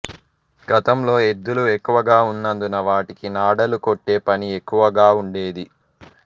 గతంలో ఎద్దులు ఎక్కువగా వున్నందున వాటికి నాడాలు కొట్టే పని ఎక్కువగా వుండేది